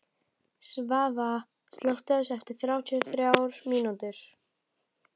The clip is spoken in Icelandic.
Svava, slökktu á þessu eftir þrjátíu og þrjár mínútur.